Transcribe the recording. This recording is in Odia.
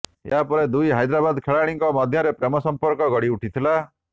ଏହାପରେ ଦୁଇ ହାଇଦ୍ରାବାଦ ଖେଳାଳିଙ୍କ ମଧ୍ୟରେ ପ୍ରେମ ସମ୍ପର୍କ ଗଢ଼ିଉଠିଥିଲା